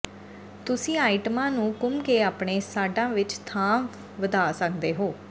ਤੁਸੀਂ ਆਈਟਮਾਂ ਨੂੰ ਘੁੰਮ ਕੇ ਆਪਣੇ ਸਾੱਢਾਂ ਵਿਚ ਥਾਂ ਵਧਾ ਸਕਦੇ ਹੋ